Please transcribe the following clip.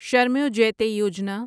Shramev Jayate Yojana